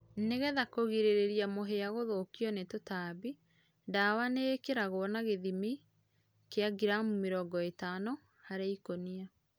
Nĩgetha kũgĩrĩrĩrĩa mũhĩa gũthũkĩo nĩ tũtambĩ, dawa nĩĩkĩragũo na gĩthĩmĩ kĩa gramũ mĩrongo ĩtano harĩ ĩkũnĩa